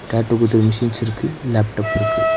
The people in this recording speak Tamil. டேட்டு குத்துற மிஷின்ஸ் இருக்கு லேப்டாப் இருக்கு.